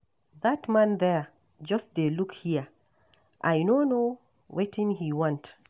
That man there just dey look here, I no know wetin he want